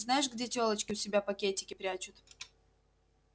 знаешь где тёлочки у себя пакетики прячут